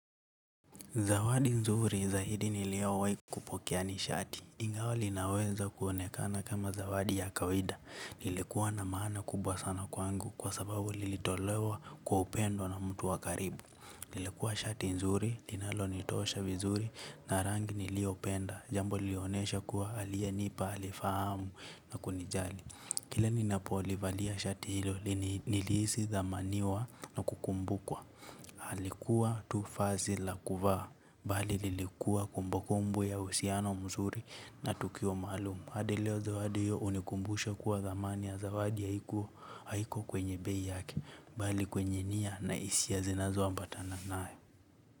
Zawadi nzuri zaidi niliyowahi kupokea ni shati. Ingawa linaweza kuonekana kama zawadi ya kawaida. Lilikuwa na maana kubwa sana kwangu kwa sababu lilitolewa kwa upendo na mtu wa karibu. Lilikuwa shati nzuri, linalonitosha vizuri na rangi niliopenda. Jambo lilinionesha kuwa aliyenipa, alifahamu na kunijali. Kile ninapolivalia shati hilo nilihisi thamaniwa na kukumbukwa. Alikuwa tu vazi la kuvaa. Bali lilikuwa kumbukumbu ya uhusiano mzuri na tukio maalum. Hadi leo zawadi hiyo hunikumbusha kuwa thamani ya zawadi ya haiko haiko kwenye bei yake bali kwenye nia na hisia zinazoambatana nayo.